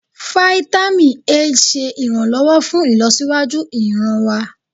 Fáítámì A ṣe iranlọwọ fún ìlọsíwájú ìran wa.